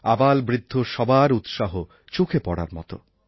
আবালবৃদ্ধ সবার উৎসাহ চোখে পড়ার মতো